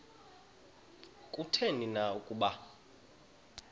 kutheni na ukuba